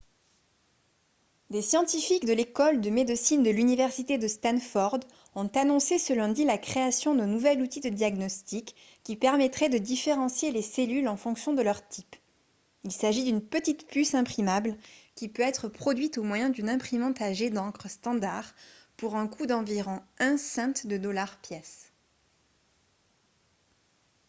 des scientifiques de l'école de médecine de l'université de stanford ont annoncé ce lundi la création d'un nouvel outil de diagnostic qui permettrait de différencier les cellules en fonction de leur type il s'agit d'une petit puce imprimable qui peut être produite au moyen d'une imprimante à jet d'encre standard pour un coût d'environ un cent de dollar pièce